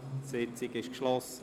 Die Sitzung ist geschlossen.